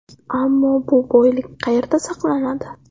Ammo bu boylik qayerda saqlanadi?